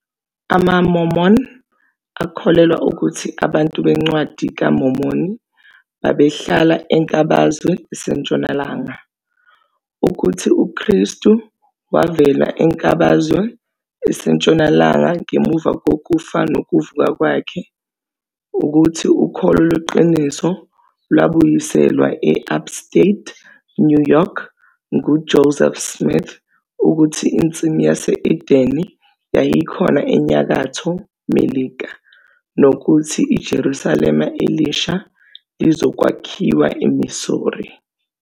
AmaMormon akholelwa ukuthi abantu beNcwadi kaMormoni babehlala enkabazwe esentshonalanga, ukuthi uKristu wavela enkabazwe esentshonalanga ngemuva kokufa nokuvuka kwakhe, ukuthi ukholo lweqiniso lwabuyiselwa e- Upstate New York nguJoseph Smith, ukuthi iNsimu yase-Edene yayikhona eNyakatho Melika, nokuthi iJerusalema Elisha lizokwakhiwa eMissouri.